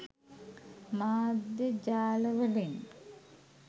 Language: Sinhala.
මාධ්‍ය ජාල වලින්.